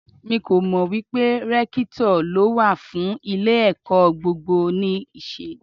Mi kò mọ̀ wípé Rẹ́kítọ̀ ló wà fún ilé ẹ̀kọ́ gbogbo nì ṣe.